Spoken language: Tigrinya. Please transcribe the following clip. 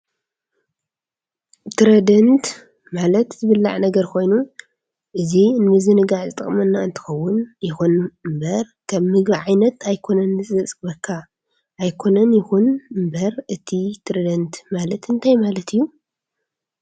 ትርደንት ማለት ዝብላዕ ነግር ኮይኑ እዚ ንምዝንጋዕ ዝጠቅመና እንትከውን ይኩን እንበር ከም ምግብ ዓይነት ኣይኮነን ዝፅግበካ ኣይኮነን ይኩን እንበር እቲ ትርደንት ማለት እንታይ እዩ?